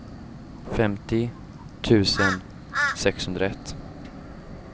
femtio tusen sexhundraett